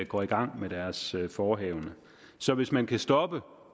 går i gang med deres forehavende så hvis man kan stoppe